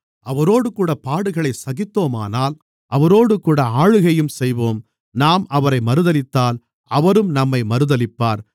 அவரோடுகூடப் பாடுகளைச் சகித்தோமானால் அவரோடுகூட ஆளுகையும் செய்வோம் நாம் அவரை மறுதலித்தால் அவரும் நம்மை மறுதலிப்பார்